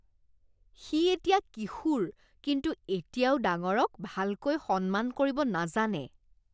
সি এতিয়া কিশোৰ, কিন্তু এতিয়াও ডাঙৰক ভালকৈ সন্মান কৰিব নাজানে।